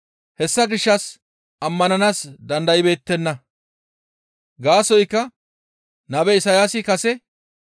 Hessa gishshas ammananaas dandaybeettenna; gaasoykka nabe Isayaasi kase,